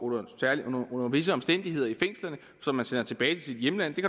under visse omstændigheder i fængslerne og som man så sender tilbage til sit hjemland det